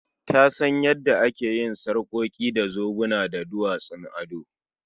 Ta san yanda ake yin sarƙoki da zobuna da duwatsun ado